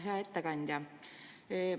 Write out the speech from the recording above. Hea ettekandja!